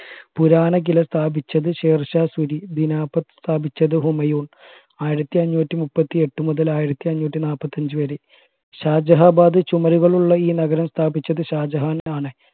പുരാനാകില സ്ഥാപിച്ചത് ഷേർ ഷാഹ് സൂരി ദിനപത് സ്ഥാപിച്ചത് ഹുമയൂൺ ആയിരത്തി അന്നൂറ്റി മുപ്പത്തി എട്ട് മുതൽ ആയിരത്തി അന്നൂറ്റി നാല്പത്തി അഞ്ചു വരെ ഷാജഹാബാദ് ചുമരുകൾ ഉള്ള ഈ നഗരം സ്ഥാപിച്ചത് ഷാജഹാൻ ആണ്